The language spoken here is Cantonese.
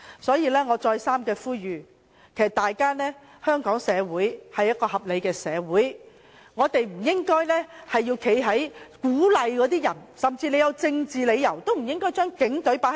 在此，我再三呼籲，香港社會是一個合理的社會，我們不應鼓勵市民將警隊放在對立面，即使有政治理由，也不應這樣做。